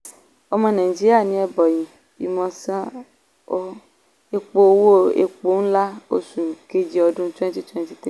ọmọ nàìjíríà ní ebonyi imo san owó epo owó epo ńlá oṣù kejì ọdún twenty twenty three.